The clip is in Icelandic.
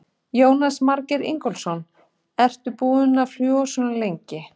Jónas Margeir Ingólfsson: Ertu búin að fljúga svona lengi?